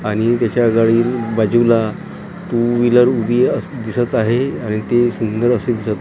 आणि त्याच्या गाडी बाजूला टू व्हिलर उभी दिसत आहे आणि ते सुंदर असे दिसत आहे.